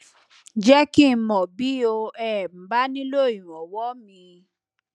jẹ kí n mọ bí o um bá nílò ìranwọ míì